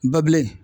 Babilen